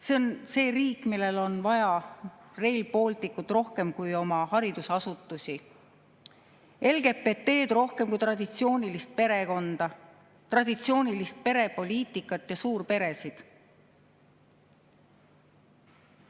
See on see riik, millel on vaja Rail Balticut rohkem kui oma haridusasutusi, LGBT-d rohkem kui traditsioonilist perekonda, traditsioonilist perepoliitikat ja suurperesid?